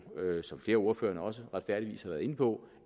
som flere af ordførerne også retfærdigvis har været inde på